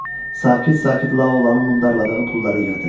Sakit-sakit Laulanın mundarladığı pulları yığdı.